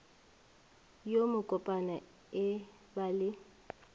yo mokopana e ba le